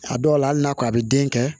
A dɔw la hali n'a ko a bɛ den kɛ